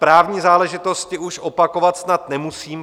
Právní záležitosti už opakovat snad nemusím.